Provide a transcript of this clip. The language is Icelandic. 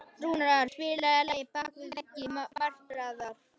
Rúnar, spilaðu lagið „Bak við veggi martraðar“.